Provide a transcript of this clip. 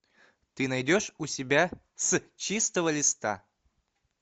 ты найдешь у себя с чистого листа